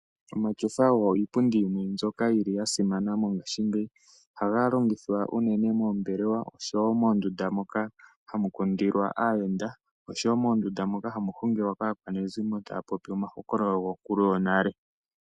Omatyofa ogo iipundi yimwe mbyoka yili yasimana mongaashingeyi. Ohaga longithwa unene moombelewa, sho wo moondunda moka ha mu kundilwa aayenda osho wo moondunda moka hamu hungilwa kaakwanezimo taya popi omahokololo gonkulu yonale.